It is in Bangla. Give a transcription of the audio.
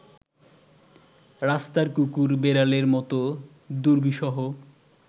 রাস্তার কুকুর বেড়ালের মত দুর্বিষহ